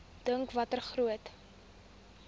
dink watter groot